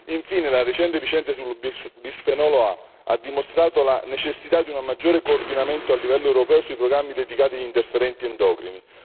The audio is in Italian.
Infine, la recente ricerca sul bisfenolo A ha dimostrato la necessità di un maggiore coordinamento a livello europeo sui programmi dedicati agli interferenti endocrini.